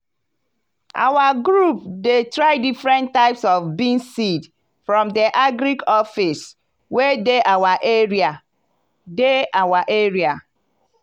our group dey try different types of beans seed from the agric office wey dey our area. dey our area.